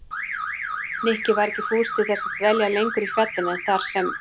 Nikki var ekki fús til þess að dvelja lengur á fjallinu en þar sem